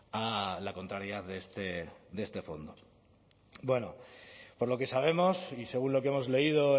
a la contrariedad de este fondo bueno por lo que sabemos y según lo que hemos leído